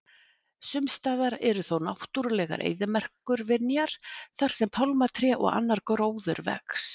sumstaðar eru þó náttúrulegar eyðimerkurvinjar þar sem pálmatré og annar gróður vex